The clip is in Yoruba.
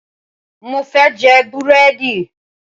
Mo fẹ́ jẹ búrẹ́dì